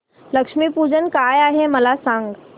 लक्ष्मी पूजन काय आहे मला सांग